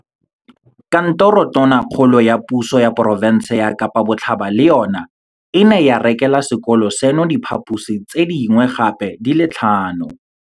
Kantoro ya Tona kgolo ya Puso ya Porofense ya Kapa Botlhaba le yona e ne ya rekela sekolo seno diphaposi tse dingwe gape di le tlhano.